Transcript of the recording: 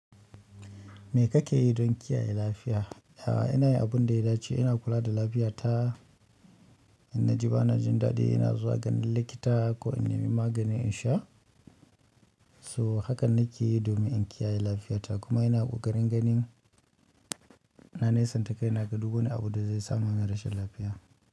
Me kake yi don kiyaye lafiya? A'a, ina yi abun da ya dace, ina kula da lafiyata. In na ji bana jin daɗi, ina zuwa ganin likita ko in ne mi magani in sha. To hakan nake domin inkiyaye lafiyata kuma ina kokarin ganin na nai santa kaina, ga duk wani abu da zai sa man na rashin lafiya.